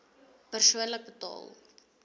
persoonlik betaal